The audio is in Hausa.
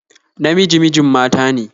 Namiji mijin mata ne